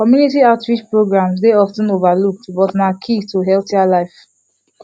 community outreach programs dey of ten overlooked but na key to healthier life